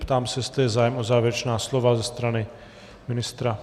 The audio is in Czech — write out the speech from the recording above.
Ptám se, jestli je zájem o závěrečná slova ze strany ministra.